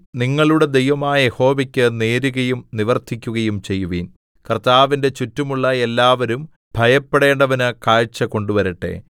നിങ്ങളുടെ ദൈവമായ യഹോവയ്ക്ക് നേരുകയും നിവർത്തിക്കുകയും ചെയ്യുവിൻ കർത്താവിന്റെ ചുറ്റുമുള്ള എല്ലാവരും ഭയപ്പെടേണ്ടവന് കാഴ്ച കൊണ്ടുവരട്ടെ